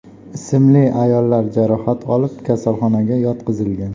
ismli ayollar jarohat olib kasalxonaga yotqizilgan.